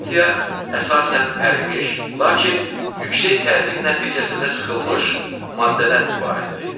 Mantia əsasən ərimiş, lakin yüksək təzyiq nəticəsində sıxılmış maddədən ibarətdir.